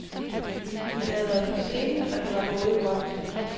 De havde været på scenen og det var gået godt.